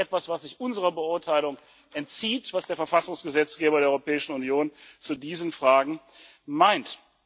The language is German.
Das ist etwas, was sich unserer Beurteilung entzieht, was der Verfassungsgesetzgeber der Europäischen Union zu diesen Fragen meint.